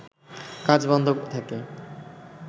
কাজ বন্ধ থাকে